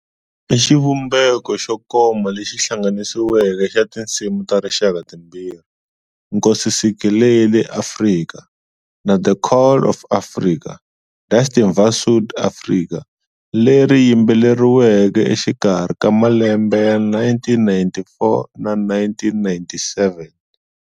I xivumbeko xo koma lexi hlanganisiweke xa tinsimu ta rixaka timbirhi, Nkosi Sikelel'iAfrika'na 'The Call of South Africa' - 'Die Stem va Suid-Afrika', leri yimbeleriweke exikarhi ka 1994 na 1997.